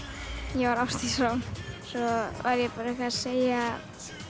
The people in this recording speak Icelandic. ég var Ásdís Rán svo var ég eitthvað að segja